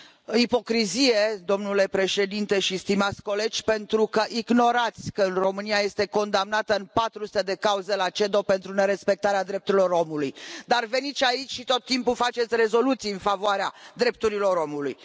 Ipocrizie, domnule președinte și stimați colegi, pentru că ignorați că România este condamnată în 400 de cauze la CEDO pentru nerespectarea drepturilor omului, dar veniți aici și tot timpul faceți rezoluții în favoarea drepturilor omului.